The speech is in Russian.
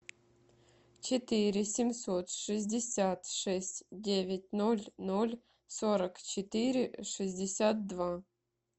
четыре семьсот шестьдесят шесть девять ноль ноль сорок четыре шестьдесят два